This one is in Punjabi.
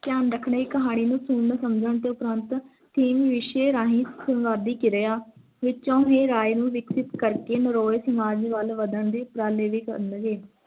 ਧਿਆਨ ਰੱਖਣਾ ਇੱਕ ਕਹਾਣੀ ਨੂੰ ਸੁਣਨ-ਸਮਝਣ ਦੇ ਉਪਰਾਂਤ ਦੇ ਰਿਸ਼ਤੇ ਰਾਹੀਂ ਸੰਪਾਦਿਕ ਕਿਰਿਆ ਵਿਛੋ ਰਾਏ ਨੂੰ ਵਿਕਸਿਤ ਕਰਕੇ ਨਰੋਏ ਸਮਾਜ ਵੱਲ ਵਧਣ ਦੀ ਪ੍ਰੀਕਿਰਿਆ